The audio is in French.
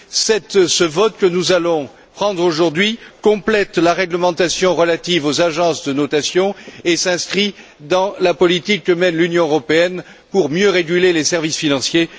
Ce texte sur lequel nous allons nous prononcer aujourd'hui complète la réglementation relative aux agences de notation et s'inscrit dans la politique que mène l'Union européenne pour mieux réguler les services financiers.